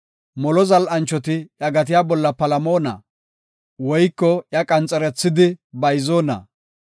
Molo zal7anchoti iya gatiya bolla palamona? Woyko iya qanxerethidi bayzoona?